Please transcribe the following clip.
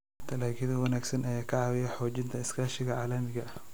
Dalagyo wanaagsan ayaa ka caawiya xoojinta iskaashiga caalamiga ah.